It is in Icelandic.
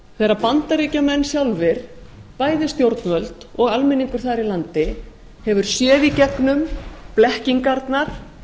þegar bandaríkjamenn sjálfir bæði stjórnvöld og almenningur þar í landi hefur séð í gegnum blekkingarnar